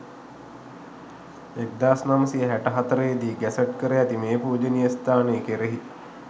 1964 දී ගැසට් කර ඇති මේ පූජනීය ස්ථානය කෙරෙහි